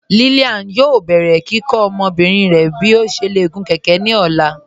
Lílíán yóò bẹ̀rẹ̀ kíkọ́ ọmọbìrín rẹ̀ bí ó ṣé lè gún kẹ̀kẹ̀ ní ọ̀la.